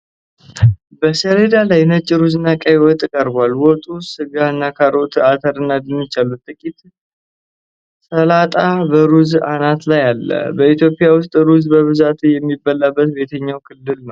በሰሌዳ ላይ ነጭ ሩዝና ቀይ ወጥ ቀርቧል። ወጡ ሥጋና ካሮት፣ አተርና ድንች አሉት። ጥቂት ሰላጣ በሩዙ አናት ላይ አለ። በኢትዮጵያ ውስጥ ሩዝ በብዛት የሚበላው በየትኞቹ ክልሎች ነው?